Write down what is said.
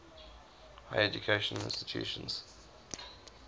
higher educational institutions